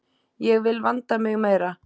Ég vil vanda mig meira.